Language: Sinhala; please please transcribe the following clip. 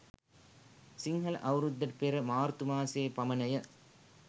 සිංහල අවුරුද්දට පෙර මාර්තු මාසයේ පමණය.